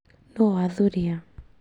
Nũũ wathurìa